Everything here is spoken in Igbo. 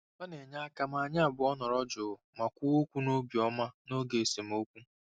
Ọ na-enye aka ma anyị abụọ nọrọ jụụ ma kwuo okwu n'obi ọma n'oge esemokwu.